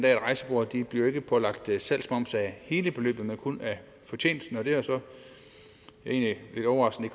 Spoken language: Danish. at rejsebureauer ikke bliver pålagt salgsmoms af hele beløbet men kun af fortjenesten og det er så egentlig lidt overraskende